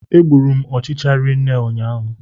Egburu m ọchịchị rinne ụnyaahụ